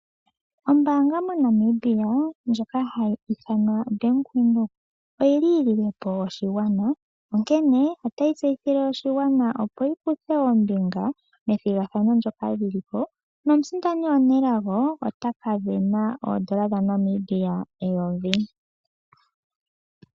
Ombaanga moNamibia ndjoka hayi ithanwa Bank Windhoek, oyi li yi lile po oshigwana, onkene ota yi tseyithile oshigwana opo shi kuthe ombinga methigathano ndyoka li li ko. Omusindani omunelago otaka sindana oondola dhaNamibia eyovi.